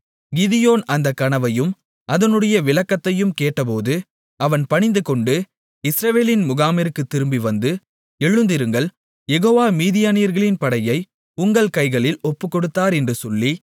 கிதியோன் அந்த கனவையும் அதனுடைய விளக்கத்தையும் கேட்டபோது அவன் பணிந்துகொண்டு இஸ்ரவேலின் முகாமிற்கு திரும்பிவந்து எழுந்திருங்கள் யெகோவா மீதியானியர்களின் படையை உங்கள் கைகளில் ஒப்புக்கொடுத்தார் என்று சொல்லி